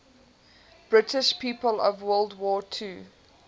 british people of world war ii